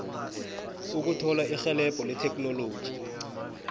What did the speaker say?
ukuthola irhelebho letheknoloji